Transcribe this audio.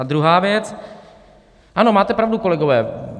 A druhá věc: ano, máte pravdu, kolegové.